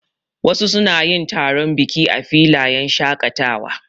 Wasu suna yin taron biki a filayen shaƙatawa.